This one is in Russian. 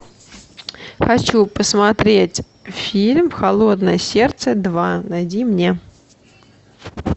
хочу посмотреть фильм холодное сердце два найди мне